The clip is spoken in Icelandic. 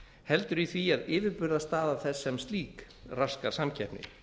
heldur í því að yfirburðastaða þess sem slík raskar samkeppni